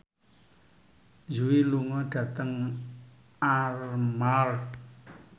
Yui lunga dhateng Armargh